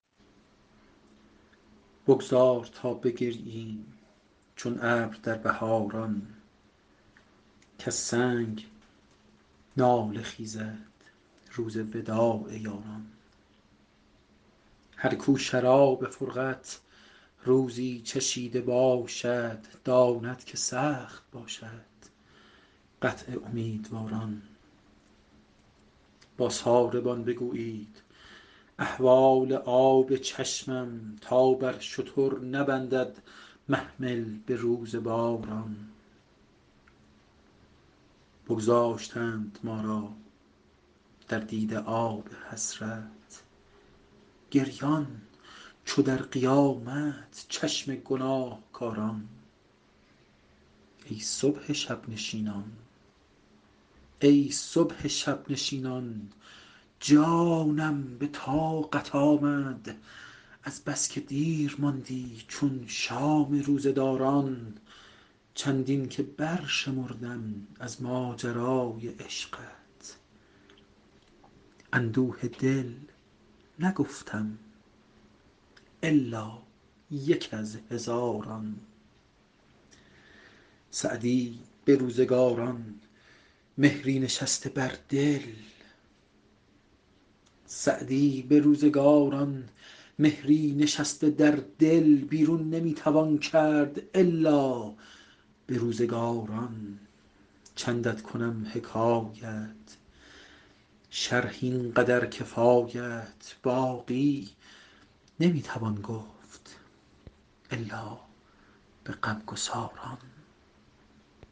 بگذار تا بگرییم چون ابر در بهاران کز سنگ گریه خیزد روز وداع یاران هر کو شراب فرقت روزی چشیده باشد داند که سخت باشد قطع امیدواران با ساربان بگویید احوال آب چشمم تا بر شتر نبندد محمل به روز باران بگذاشتند ما را در دیده آب حسرت گریان چو در قیامت چشم گناهکاران ای صبح شب نشینان جانم به طاقت آمد از بس که دیر ماندی چون شام روزه داران چندین که برشمردم از ماجرای عشقت اندوه دل نگفتم الا یک از هزاران سعدی به روزگاران مهری نشسته در دل بیرون نمی توان کرد الا به روزگاران چندت کنم حکایت شرح این قدر کفایت باقی نمی توان گفت الا به غمگساران